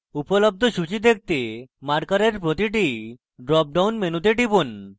উপলব্ধ সূচী দেখতে marker প্রতিটি drop down মেনুতে টিপুন